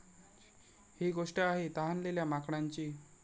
ही गोष्ट आहे तहानलेल्या माकडांची!